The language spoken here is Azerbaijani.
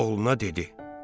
Oğluna dedi: